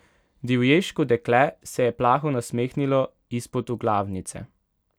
Divješko dekle se je plaho nasmehnilo izpod oglavnice.